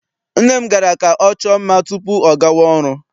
Nne m gara ka ọ chọọ mma tupu ọ gawa ọrụ.